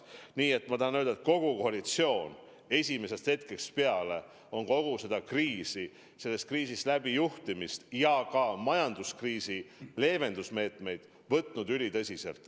Nii et ma tahan öelda, et kogu koalitsioon on esimesest hetkest peale kogu seda kriisi, riigi sellest kriisist läbi juhtimist ja ka majanduskriisi leevenduse meetmeid võtnud ülitõsiselt.